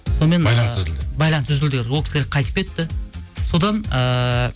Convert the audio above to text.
сонымен байланыс үзілді байланыс үзілді ол кісілер қайтып кетті содан ыыы